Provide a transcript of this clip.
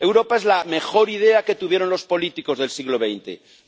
Europa es la mejor idea que tuvieron los políticos del siglo XX.